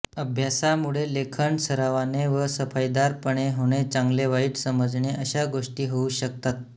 अभ्यासामुळे लेखन सरावाने व सफाईदार पणे होणे चांगलेवाईट समजणे अशा गोष्टी होऊ शकतात